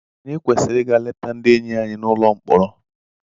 Ànyị kwesịrị ịga leta ndị enyi anyị nọ n'ụlọ mkpọrọ?